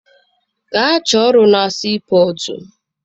Gaa chọọ ọrụ na sii pọtụ!